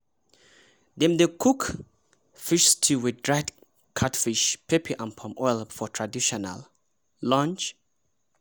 dem dey cook fish stew wit dried catfish pepe and palm oil for traditional lunch